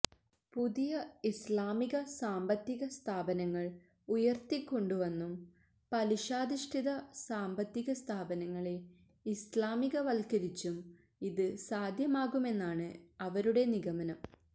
പുതിയ ഇസ്ലാമിക സാമ്പത്തിക സ്ഥാപനങ്ങള് ഉയര്ത്തിക്കൊണ്ടുവന്നും പലിശാധിഷ്ഠിത സാമ്പത്തിക സ്ഥാപനങ്ങളെ ഇസ്ലാമികവത്കരിച്ചും ഇത് സാധ്യമാകുമെന്നാണ് അവരുടെ നിഗമനം